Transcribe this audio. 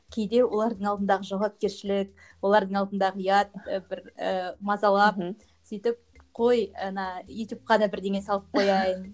кейде олардың алдындағы жауапкершілік олардың алдындағы ұят бір ііі мазалап мхм сөйтіп қой ана ютубқа да бірдеңе салып қояйын